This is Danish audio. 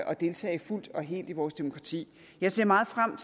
at deltage fuldt og helt i vores demokrati jeg ser meget frem